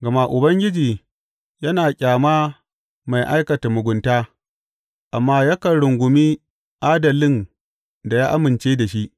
Gama Ubangiji yana ƙyama mai aikata mugunta amma yakan rungumi adalin da ya amince da shi.